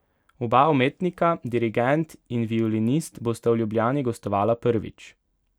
Oba umetnika, dirigent in violinist, bosta v Ljubljani gostovala prvič.